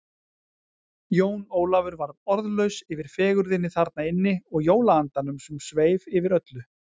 Jón Ólafur varð orðlaus yfir fegurðinni þarna inni og jólaandanum sem sveif yfir öllu.